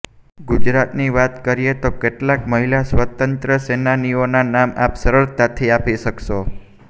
ગુજરાતની વાત કરીએ તો કેટલાક મહિલા સ્વાતંત્ર્ય સેનાનીઓના નામ આપ સરળતાથી આપી શકશો